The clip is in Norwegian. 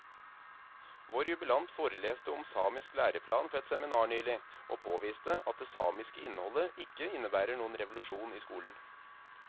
Vår jubilant foreleste om samisk læreplan på et seminar nylig, og påviste at det samiske innholdet ikke innebærer noen revolusjon i skolen.